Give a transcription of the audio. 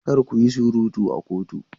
Kar ku yi surutu a kotu!